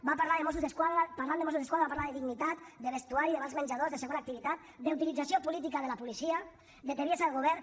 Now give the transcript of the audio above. va parlar de mossos d’esquadra parlant de mossos d’esquadra va parlar de dignitat de vestuari de vals menjador de segona activitat d’utilització política de la policia de tebiesa del govern